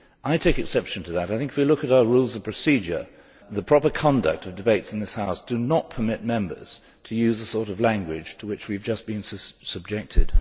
I take exception to that. I think, if we look at our Rules of Procedure, the proper conduct of debates in this House does not permit members to use the sort of language to which we have just been subjected.